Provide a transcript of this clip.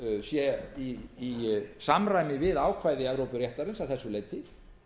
sé í samræmi við ákvæði evrópuréttarins að þessu leyti